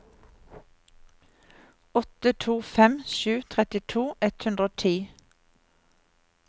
åtte to fem sju trettito ett hundre og ti